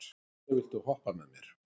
Binni, viltu hoppa með mér?